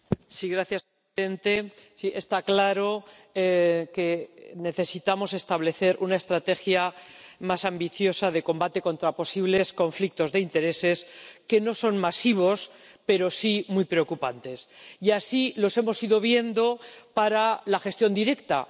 Señor presidente, está claro que necesitamos establecer una estrategia más ambiciosa de combate contra posibles conflictos de intereses, que no son masivos, pero sí muy preocupantes, y así los hemos ido viendo para la gestión directa.